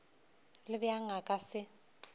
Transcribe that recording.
le bjang a ka se